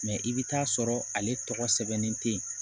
Mɛ i bɛ t'a sɔrɔ ale tɔgɔ sɛbɛnnen tɛ